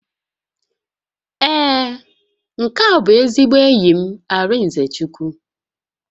Ee, nke a bụ ezigbo enyi m Arịnzechukwu